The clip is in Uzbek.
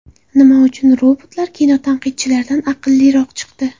Nima uchun robotlar kinotanqidchilardan aqlliroq chiqdi?